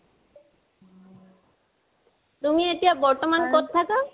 তুমি, এতিয়া বৰ্তমান কত থাকা?